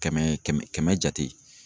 Kɛmɛ kɛmɛ jate.